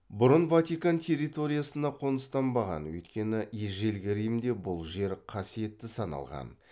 бұрын ватикан территориясына қоныстанбаған өйткені ежелгі римде бұл жер қасиетті саналған